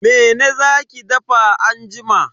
Mene za ki dafa anjima?